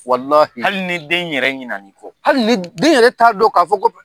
Walihi hali ni den yɛrɛ ɲinɛ na i kɔ. Hali ni, den yɛrɛ t'a dɔn k'a fɔ ko